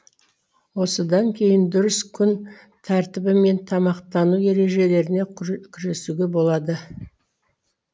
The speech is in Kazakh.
осыдан кейін дұрыс күн тәртібі мен тамақтану ережелеріне күресуге болады